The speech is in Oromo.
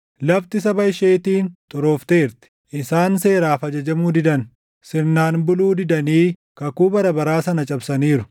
Lafti saba isheetiin xuroofteerti; isaan seeraaf ajajamuu didan; sirnaan buluu didanii kakuu bara baraa sana cabsaniiru.